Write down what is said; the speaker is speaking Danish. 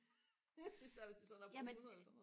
det er altid når man er oppe på hundrede eller sådan noget